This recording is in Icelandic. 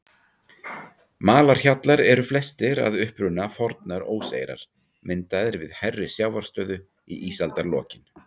Malarhjallar eru flestir að uppruna fornar óseyrar, myndaðir við hærri sjávarstöðu í ísaldarlokin.